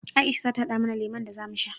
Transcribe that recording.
Aisha za ta haɗa mana lemon da za mu sha.